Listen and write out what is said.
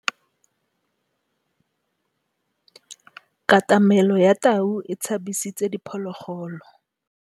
Katamêlô ya tau e tshabisitse diphôlôgôlô.